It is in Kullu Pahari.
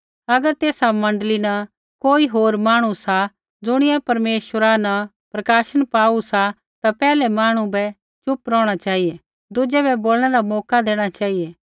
अगर तेसा मण्डली न कोई होर मांहणु सा ज़ुणियै परमेश्वरा न प्रकाशन पाऊ सा ता पैहलै मांहणु बै चुप रौहणा चेहिऐ दुज़ै बै बोलणै रा मौका देणा चेहिऐ